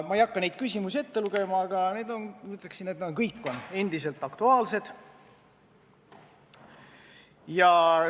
Ma ei hakka neid küsimusi uuesti ette lugema, aga ütleksin, et need kõik on endiselt aktuaalsed.